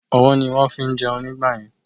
Ọwọ́ ni wón fí ń jẹun nígbàyẹn